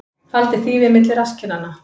Faldi þýfi milli rasskinnanna